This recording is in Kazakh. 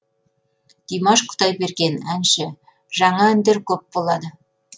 димаш құдайберген әнші жаңа әндер көп болады